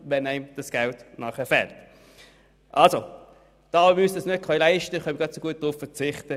Da wir uns das nicht leisten können, können wir ebenso gut darauf verzichten.